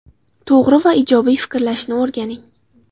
To‘g‘ri va ijobiy fikrlashni o‘rganing.